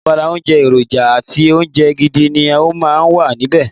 Ní abala oúnjẹ, èròjà àti oúnjẹ gidi ni ó máa ń wà níbẹ̀.